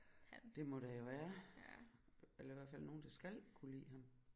Det må der jo være eller i hvert fald nogen der skal kunne lide ham